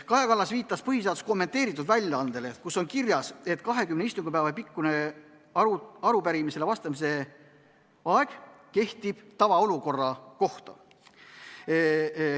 Kaja Kallas viitas põhiseaduse kommenteeritud väljaandele, kus on kirjas, et 20 istungipäeva pikkune arupärimisele vastamise aeg kehtib tavaolukorra kohta.